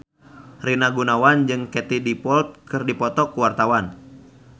Rina Gunawan jeung Katie Dippold keur dipoto ku wartawan